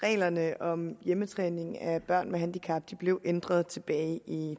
reglerne om hjemmetræning af børn med handicap blev ændret tilbage i